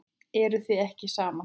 Eruð þið ekki saman?